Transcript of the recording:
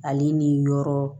Ale ni yɔrɔ